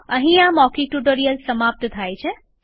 અહીં આ મૌખિક ટ્યુટોરીયલ સમાપ્ત થાય છે